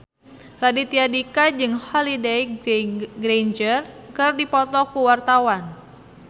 Raditya Dika jeung Holliday Grainger keur dipoto ku wartawan